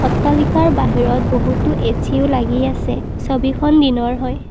অট্টালিকাৰ বাহিৰত বহুতো এচিও লাগি আছে ছবিখন দিনৰ হয়।